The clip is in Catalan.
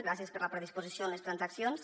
gràcies per la predisposició en les transaccions